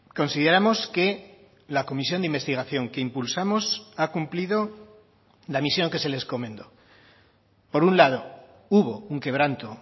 consideramos que la comisión de investigación que impulsamos ha cumplido la misión que se le encomendó por un lado hubo un quebranto